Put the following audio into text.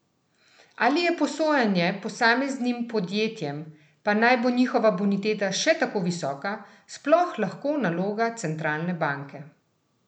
Ali je posojanje posameznim podjetjem, pa naj bo njihova boniteta še tako visoka, sploh lahko naloga centralne banke?